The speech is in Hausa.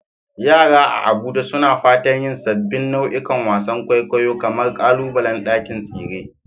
Yara a Abuja suna fatan yin sabbin nau'ikan wasan kwaikwayo kamar ƙalubalen ɗakin tsere.